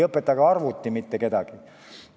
Ka arvuti ei õpeta mitte kedagi.